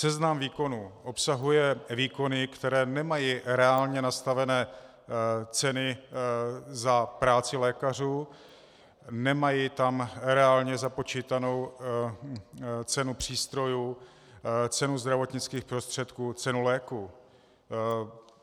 Seznam výkonů obsahuje výkony, které nemají reálně nastavené ceny za práci lékařů, nemají tam reálně započítanou cenu přístrojů, cenu zdravotnických prostředků, cenu léků.